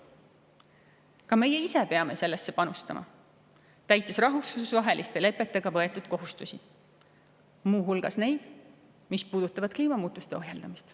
Ka meie ise peame sellesse panustama, täites rahvusvaheliste lepetega võetud kohustusi, muu hulgas neid, mis puudutavad kliimamuutuste ohjeldamist.